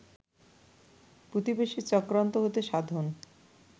প্রতিবেশীর চক্রান্ত হতে সাবধান